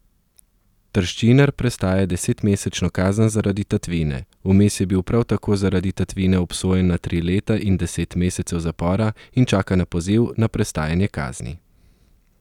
Trščinar prestaja desetmesečno kazen zaradi tatvine, vmes je bil prav tako zaradi tatvine obsojen na tri leta in deset mesecev zapora in čaka na poziv na prestajanje kazni.